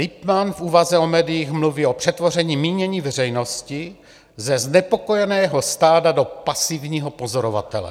Littmann v úvaze o médiích mluví o přetvoření mínění veřejnosti ze znepokojeného stáda do pasivního pozorovatele.